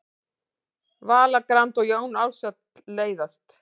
Vala Grand og Jón Ársæll leiðast